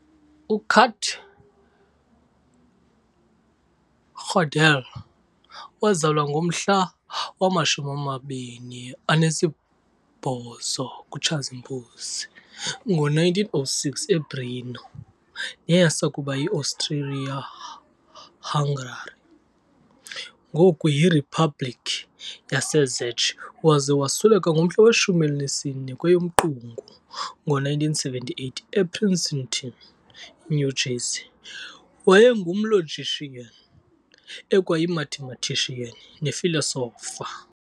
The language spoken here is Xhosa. UKurt Gödel wazalwa ngomhla wama-28 kuTshazimpuzi ngo1906 eBrno, neyayisakuba yiAustria-Hungary, ngoku yirhiphabhlikhi yaseCzech waza wasweleka ngomhla we-14 kweyomQungu ngo1978 ePrinceton, New Jersey, wayengumlogician, ekwayimathematician, nefilosofa